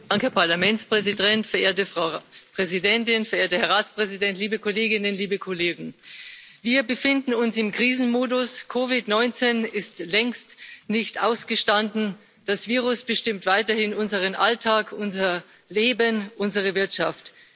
Herr Präsident, verehrte Frau Präsidentin, verehrter Herr Ratspräsident, liebe Kolleginnen, liebe Kollegen! Wir befinden uns im Krisenmodus. COVID 19 ist längst nicht ausgestanden, das Virus bestimmt weiterhin unseren Alltag, unser Leben, unsere Wirtschaft.